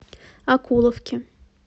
окуловке